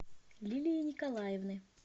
лилии николаевны